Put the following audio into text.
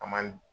A man